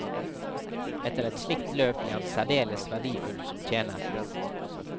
Etter et slikt løp ble han særdeles verdifull som tjener.